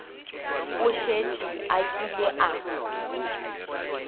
o šetše a kile a